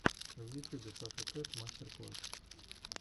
в ютюбе саша кэт мастер класс